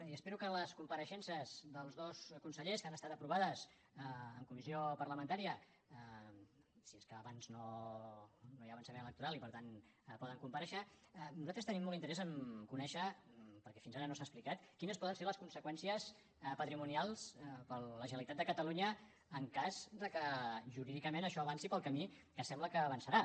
i espero que en les compareixences dels dos consellers que han estat aprovades en comissió parlamentària si és que abans no hi ha avançament electoral i per tant poden comparèixer nosaltres tenim molt interès a conèixer perquè fins ara no s’han explicat quines poden ser les conseqüències patrimonials per a la generalitat de catalunya en cas que jurídicament això avanci pel camí que sembla que avançarà